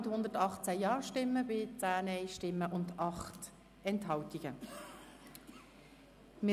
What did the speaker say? Sie haben das Gesetz mit 118 Ja- gegen 10 Nein-Stimmen bei 8 Enthaltungen angenommen.